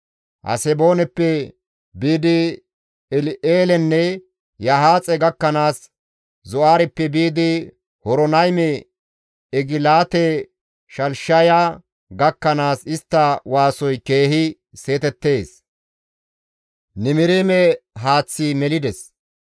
«Hasebooneppe biidi El7eelenne Yahaaxe gakkanaas, Zo7aareppe biidi Horonayme, Egilaate-Shalishiya gakkanaas istta waasoy keehi seetettees; Nimiriime haaththi melides.